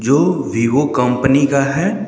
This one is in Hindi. जो वीवो कंपनी का है।